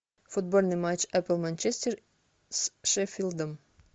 футбольный матч апл манчестер с шеффилдом